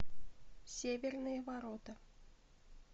северные ворота